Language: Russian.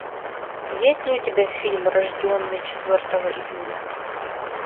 есть ли у тебя фильм рожденный четвертого июля